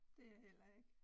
Det jeg heller ikke